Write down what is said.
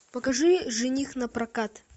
покажи жених на прокат